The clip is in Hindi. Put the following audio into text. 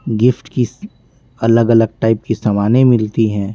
गिफ्ट की अलग-अलग टाइप की सामानें मिलती हैं।